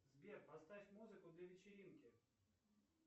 сбер поставь музыку для вечеринки